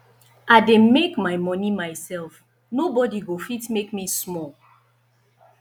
i dey make my money myself nobody go fit make me small